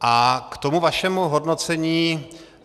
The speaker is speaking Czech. A k tomu vašemu hodnocení.